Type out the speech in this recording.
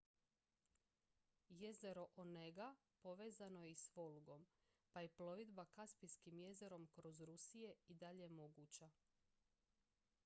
jezero onega povezano je i s volgom pa je plovidba kaspijskim jezerom kroz rusije i dalje moguća